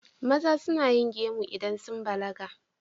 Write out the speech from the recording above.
Maza suna yin gemu idan sun balaga.